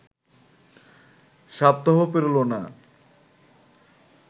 সপ্তাহও পেরোল না